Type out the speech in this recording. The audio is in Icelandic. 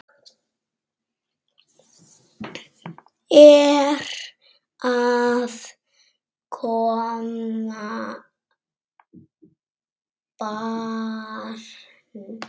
Er að koma barn?